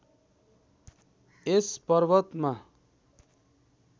यस पर्वतमा